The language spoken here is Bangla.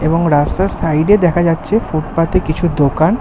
এবং রাস্তার সাইড এ দেখা যাচ্ছে ফুটপাথ এ কিছু দোকান--